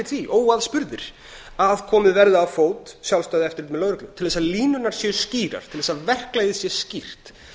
því óaðspurðir að komið verði á fót sjálfstæðu eftirliti með lögreglu til þess að línurnar séu skýrar til þess að verklagið sé skýrt